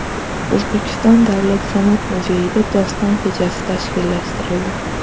O‘zbekiston Davlat San’at muzeyida doston kechasi tashkillashtirildi.